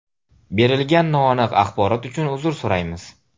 Berilgan noaniq axborot uchun uzr so‘raymiz.